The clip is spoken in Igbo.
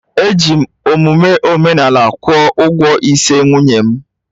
Eji m omume omenala kwụọ ụgwọ ịse nwunye m